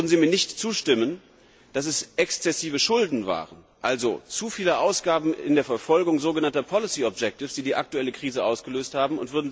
Würden Sie mir nicht zustimmen, dass es exzessive Schulden waren also zu viele Ausgaben in der Verfolgung sogenannter die die aktuelle Krise ausgelöst haben?